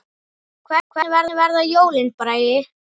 Hvernig verða jólin, Bragi?